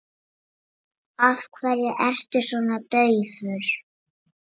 Af hverju ertu svona daufur?